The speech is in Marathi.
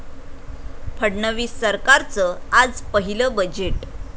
फडणवीस सरकारचं आज पहिलं बजेट